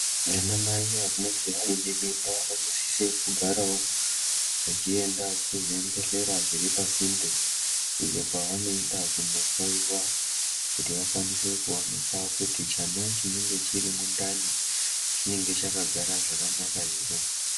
Anaana mai vanenge vainemimba vanosisa kugarawo vachienda kuzvibhedhlera zviripasinde ,iyo kwavanoenda kunohloyiwa kuti vakwanise kuonekwa kuti chana chinenge chirimundani chinenge chakagara zvakanaka here.